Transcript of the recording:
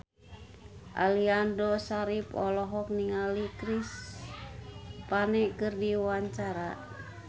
Aliando Syarif olohok ningali Chris Pane keur diwawancara